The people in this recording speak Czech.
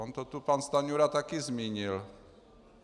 On to tu pan Stanjura taky zmínil.